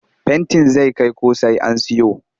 Fentin zai kai ko sai an siyo